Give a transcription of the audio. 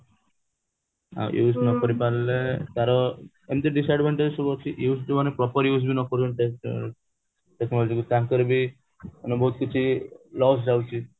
use ନ କରି ପାରିଲେ ତାର ଏମିତି disadvantage ସବୁ ଅଛି use ଯୋଉମାନେ proper use ବି ନ କରୁଛନ୍ତି technology କୁ ତାଙ୍କର ବି ମାନେ ବହୁତ କିଛି loss ଯାଉଛି